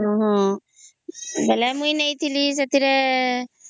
ହଁ ବୋଲେ ମୁଇ ନେଇଥିଲି ସେଥିରେ